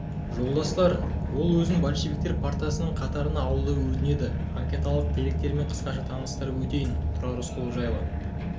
жолдастар ол өзін большевиктер партиясының қатарына алуды өтінеді анкеталық деректерімен қысқаша таныстырып өтейін тұрар рысқұлов жылы